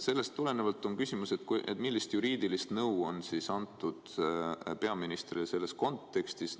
Sellest tulenevalt on küsimus: millist juriidilist nõu on antud peaministrile selles kontekstis?